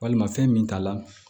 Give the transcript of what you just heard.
Walima fɛn min t'a la